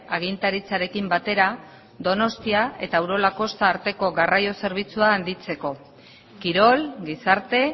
agintaritzarekin batera donostia eta urola kosta arteko garraio zerbitzua handitzeko kirol gizarte